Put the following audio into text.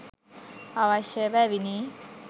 අවශ්‍යය බැවිනි.